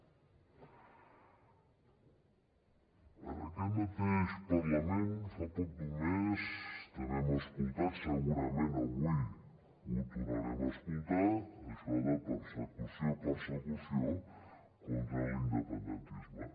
en aquest mateix parlament fa prop d’un mes també hem escoltat segurament avui ho tornarem a escoltar això de persecució persecució contra l’independentisme